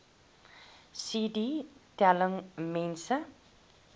cd telling mense